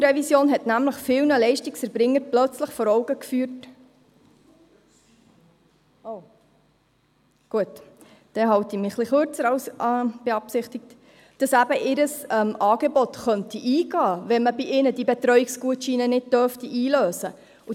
Die Revision der Verordnung über die Angebote zur sozialen Integration (ASIV) hat nämlich vielen Leistungserbringern plötzlich vor Augen geführt, dass ihr Angebot eingehen könnte, wenn man bei ihnen diese Betreuungsgutscheine nicht einlösen dürfte.